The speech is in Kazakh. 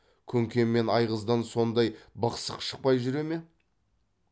күнке мен айғыздан сондай бықсық шықпай жүре ме